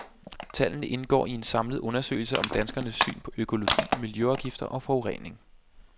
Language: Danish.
Tallene indgår i en samlet undersøgelse om danskernes syn på økologi, miljøafgifter og forurening.